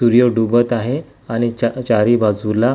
सूर्य डूबत आहे आणि चा चारी बाजूला --